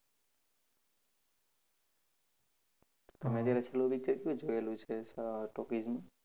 તમે અત્યારે છેલ્લું picture ક્યુ જોયેલું છે સ Talkies માં?